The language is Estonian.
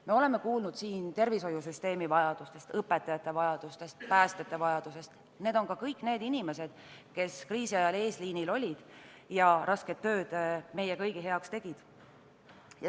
Me oleme kuulnud siin tervishoiusüsteemi vajadustest, õpetajate vajadusest, päästjate vajadusest – need on ka kõik need inimesed, kes kriisi ajal eesliinil olid ja rasket tööd meie kõigi heaks tegid.